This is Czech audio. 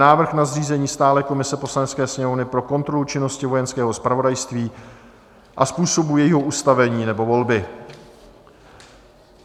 Návrh na zřízení stálé komise Poslanecké sněmovny pro kontrolu činnosti Vojenského zpravodajství a způsobu jejího ustavení nebo volby